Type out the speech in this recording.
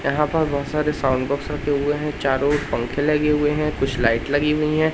यहां पर बहोत सारे साउंड बॉक्स रखे हुए हैं चारों ओर पंखे लगे हुए है कुछ लाइट लगी हुई है।